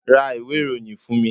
ra ìwé iroyín fún mí